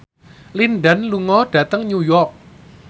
Lin Dan lunga dhateng New York